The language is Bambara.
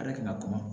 A yɛrɛ kun ka kuma